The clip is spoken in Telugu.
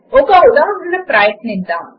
ఒక ఉదాహరణ ప్రయత్నిద్దాము